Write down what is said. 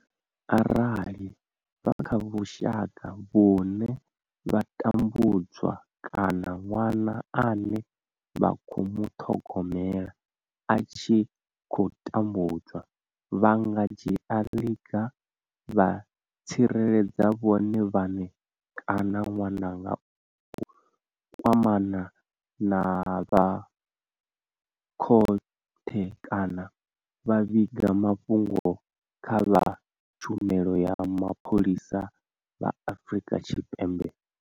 Arali vha kha vhushaka vhune vha tambudzwa kana ṅwana ane vha khou muṱhogomela a tshi khou tambudzwa, vha nga dzhia ḽiga vha tsireledza vhone vhaṋe kana ṅwana nga u kwamana na vha khothe kana vha vhiga mafhungo kha vha tshumelo ya mapholisa vha Afrika Tshipembe.